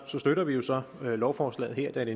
støtter vi jo så lovforslaget her da det